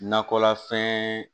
Nakɔlafɛn